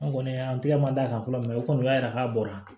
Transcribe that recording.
An kɔni an tɛgɛ man d'a kan fɔlɔ mɛ o kɔni o y'a yira k'a bɔra